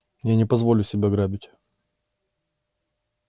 я не позволю себя грабить